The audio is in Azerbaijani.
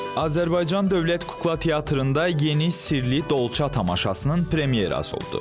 Azərbaycan Dövlət Kukla Teatrında yeni Sirli Dolça tamaşasının premyerası oldu.